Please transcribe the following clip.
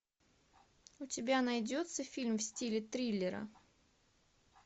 у тебя найдется фильм в стиле триллера